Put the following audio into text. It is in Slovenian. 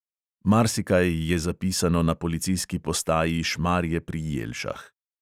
Marsikaj je zapisano na policijski postaji šmarje pri jelšah.